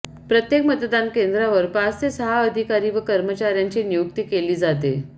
प्रत्येक मतदान केंद्रावर पाच ते सहा अधिकारी व कर्मचार्यांची नियुक्ती केली जाते